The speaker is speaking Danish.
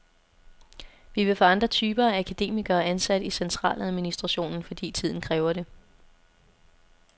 Vi vil få andre typer af akademikere ansat i centraladministrationen, fordi tiden kræver det.